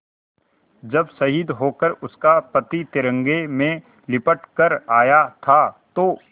जब शहीद होकर उसका पति तिरंगे में लिपट कर आया था तो